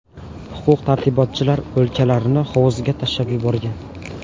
Huquq-tartibotchilar o‘liklarni hovuzga tashlab yuborgan.